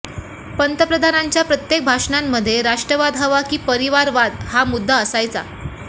पंतप्रधानांच्या प्रत्येक भाषणांमध्ये राष्ट्रवाद हवा की परिवादवाद हा मुद्दा असायचा